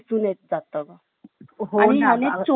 आणि ह्याने चोर देखील पकडला जातो.